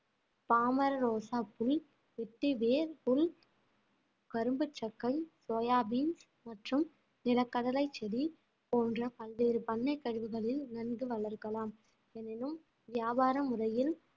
பாமர ரோஜா பூ வெட்டிவேர் புல் கரும்பு சர்க்கரை சோயா பீன்ஸ் மற்றும் நிலக்கடலை செடி போன்ற பல்வேறு பண்ணை கழிவுகளில் நன்கு வளர்க்கலாம் எனினும் வியாபார முறையில்